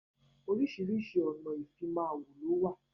Oríṣiríṣi ọ̀nà ìfimawo ló wà.